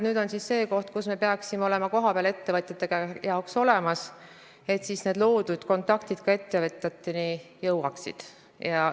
Nüüd on käes see aeg, kui me peaksime olema kohapeal ettevõtjate jaoks olemas, et need loodud kontaktid ka ettevõtjateni jõuaksid.